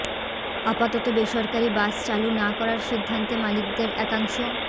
আপাতত বেসরকারি বাস চালু না করার সিদ্ধান্তে মালিকদের একাংশ